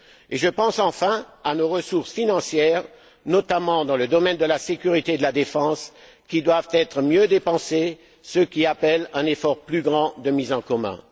Et je pense enfin à nos ressources financières, notamment dans le domaine de la sécurité et de la défense, qui doivent être mieux dépensées, ce qui appelle un effort plus grand de mise en commun.